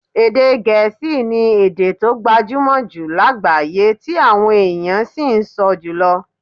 Èdè Gẹ̀ẹ́sì ni èdè tó gbajúmọ̀ jù lágbàáyé tí àwọn èèyàn sì ń sọ jùlọ